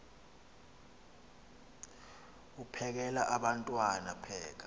uphekel abantwana pheka